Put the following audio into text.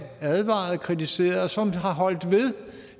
advarede og kritiserede og som har holdt ved